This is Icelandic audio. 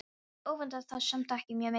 Ég öfundaði þá samt ekki mjög mikið.